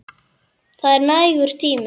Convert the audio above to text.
Það er nægur tími.